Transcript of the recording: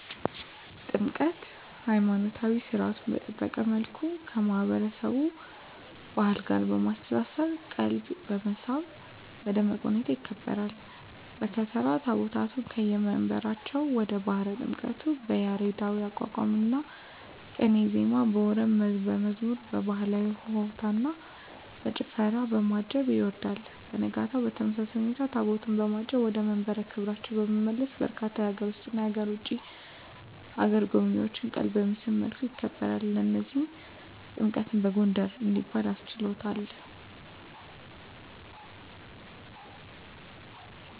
ጥምቀት!! ሀይማኖታዊ ሰርዓቱን በጠበቀ መልኩ ከማህበረሰቡ ባህል ጋር በማስተሳሰር ቀልብን በመሳብ በደመቀ ሁኔታ ይከበራል። በከተራ ታቦታቱን ከየመንበራቸው ወደ ባህረ ጥምቀቱ በያሬዳዊ የአቋቋምና ቅኔ ዜማ፣ በወረብና መዝሙር፣ በባህላዊ በሆታና በጭፈራ፣ በማጀብ ያወርዳል። በነጋታው በተመሳሳይ ሁኔታ ታቦታቱን በማጀብ ወደ መንበረ ክብራቸው በመመለስ በርካታ የሀገር ውስጥና የውጭ አገር ጎብኚዎችን ቀልብ በሚስብ መልኩ ያከብራል። ለዚህም ጥምቀትን በጎንደር እንዲባል አስችሎታል!!